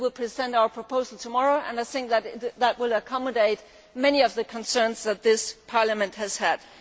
We will present our proposal tomorrow and I think that it will accommodate many of the concerns that this Parliament has raised.